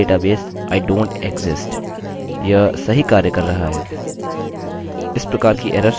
इस प्रकार की एरर्सerrorsहोना काफी लाभदायक है और फिर हमें यूजर्स प्राप्त हो सकते हैं वापस रिपोर्ट करने के लिए यदि वे नहीं हैं